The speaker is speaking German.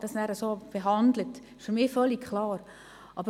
Das steht für mich ausser Frage.